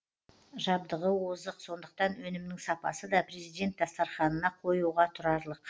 жабдығы озық сондықтан өнімнің сапасы да президент дастарханына қоюға тұрарлық